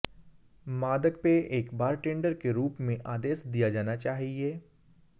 मादक पेय एक बारटेंडर के रूप में आदेश दिया जाना चाहिए